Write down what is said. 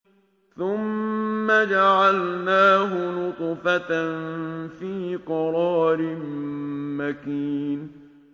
ثُمَّ جَعَلْنَاهُ نُطْفَةً فِي قَرَارٍ مَّكِينٍ